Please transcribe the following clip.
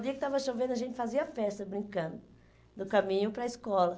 No dia que estava chovendo, a gente fazia festa, brincando, no caminho para a escola.